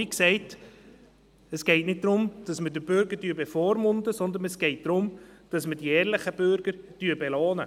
Wie gesagt, es geht nicht darum, dass wir den Bürger bevormunden, sondern es geht darum, dass wir die ehrlichen Bürger belohnen.